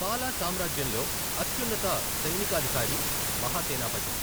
పాలా సామ్రాజ్యంలో అత్యున్నత సైనికాధికారి మహాసేనాపతి.